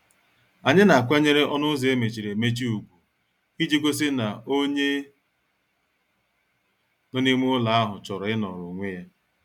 Anyị na- akwanyere ọnụ ụzọ emechiri emechi ugwu iji gosi na onye nọ n' ime ụlọ ahụ chọrọ inoro onwe ya.